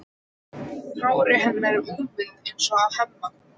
Hár hennar er úfið eins og á Hemma.